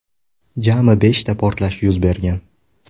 Jami beshta portlash yuz bergan.